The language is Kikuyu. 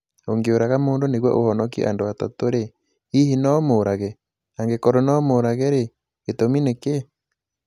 Ũngĩũraga mũndũ nĩguo ũhonokie andũ atatũ-rĩ, hihi no ũmũũrage? Angĩkorũo no ũmũũrage-rĩ, gĩtũmi nĩ kĩĩ?